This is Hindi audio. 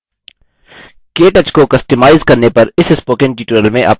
केटच को कस्टमाइज अपनी इच्छा के अनुसार बनाना करने पर इस spoken tutorial में आपका स्वागत है